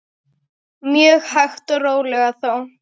Mjög hægt og rólega þó.